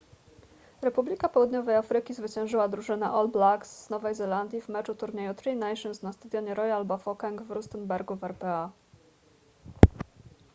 republika południowej afryki zwyciężyła drużynę all blacks z nowej zelandii w meczu turnieju tri nations na stadionie royal bafokeng w rustenburgu w rpa